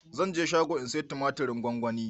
Zan je shago in saya tumatirin gwanwani